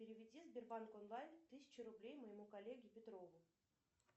переведи сбербанк онлайн тысячу рублей моему коллеге петрову